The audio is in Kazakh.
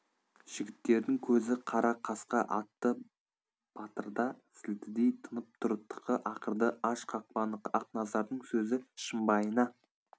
жігіттердің көзі қара қасқа атты батырда сілтідей тынып тұр тықы ақырды аш қақпаны ақназардың сөзі шымбайына